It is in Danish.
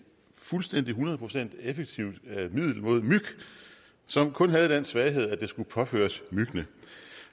fuldstændig og hundrede procent effektivt middel mod myg som kun havde den svaghed at det skulle påføres myggene